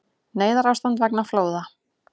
Neyðarástand vegna flóða